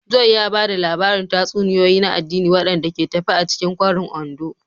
Joy ya ba da labarin tatsuniyoyi na addini waɗanda ke tafe a cikin kwarin Ondo.